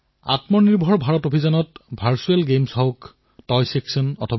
আপোনালোকে নিশ্চয়কৈ এই এপসমূহৰ বিষয়ে জানি লওক আৰু ইয়াৰ সৈতে জড়িত হওক